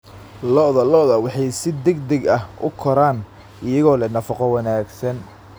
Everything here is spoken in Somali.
Lo'da lo'da waxay si degdeg ah u koraan iyagoo leh nafaqo wanaagsan.